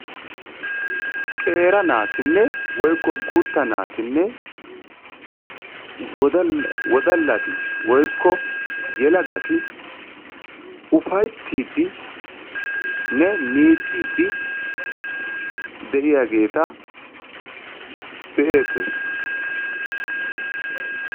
Qeera naatinne/guutta naatinne wodallati/ufayttiiddinne miicciiddi de'iyageeta be'eettees.